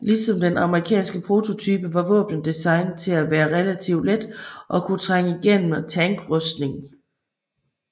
Ligesom den amerikanske prototype var våbnet designet til at være relativt let og kunne trænge igennem tankrustning